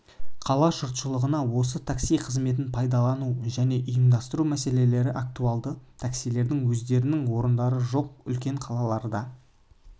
қала жұртшылығына осы такси қызметін пайдалану және ұйымдастыру мәселелері актуалды таксилердің өздерінің орындары жоқ үлкен қалаларда